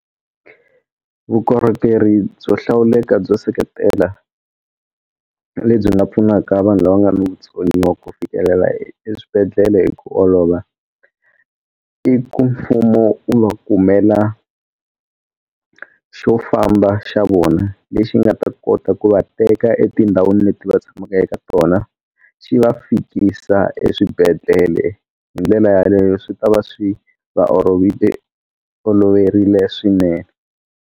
Vukorhokeri byo hlawuleka byo seketela na le byi nga pfunaka vanhu lava nga na vutsoniwa ku fikelela eswibedhlele hi ku olova i ku mfumo wu va kumela xo famba xa vona lexi nga ta kota ku va teka etindhawini leti va tshamaka eka tona xi va fikisa eswibedhlele hi ndlela yaleyo swi ta va swi va oloverile swinene.